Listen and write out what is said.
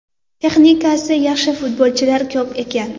Texnikasi yaxshi futbolchilar ko‘p ekan.